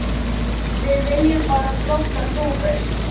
Við viljum bara flottar dúfur.